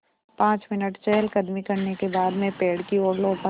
पाँच मिनट चहलकदमी करने के बाद मैं पेड़ की ओर लौटा